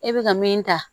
E bɛ ka min ta